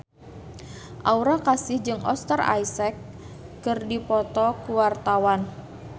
Aura Kasih jeung Oscar Isaac keur dipoto ku wartawan